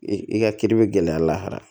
I i ka kiiri bɛ gɛlɛya lahara